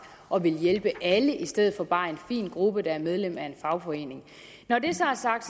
og vil hjælpe alle i stedet for bare en fin gruppe der er medlem af en fagforening når det så er sagt